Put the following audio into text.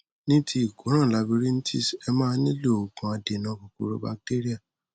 ní ti ìkóràn labyrinthis ẹ máa nílò òògùn adènà kòkòrò bacteria